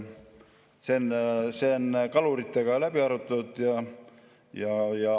See on kaluritega läbi arutatud.